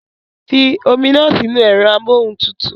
Fi omi náà sínú ẹ̀rọ amóhuntutù